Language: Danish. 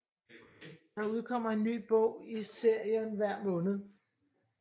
Der udkommer en ny bog i serien hver måned